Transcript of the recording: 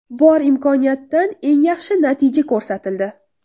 Bor imkoniyatdan eng yaxshi natija ko‘rsatildi.